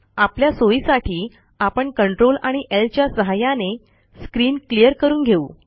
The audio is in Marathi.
आपल्या सोईसाठी आपण Ctrl आणि ल च्या सहाय्याने स्क्रीन क्लियर करून घेऊ